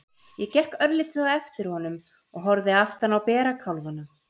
Ég gekk örlítið á eftir honum og horfði aftan á bera kálfana.